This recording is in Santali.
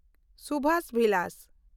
ᱥᱩᱵᱷᱚ ᱵᱤᱞᱟᱥ